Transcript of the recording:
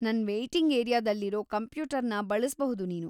ನನ್ ವೇಯ್ಟಿಂಗ್‌ ಏರಿಯಾದಲ್ಲಿರೋ ಕಂಪ್ಯೂಟರ್‌ನ ಬಳಸ್ಬಹುದು‌ ನೀನು.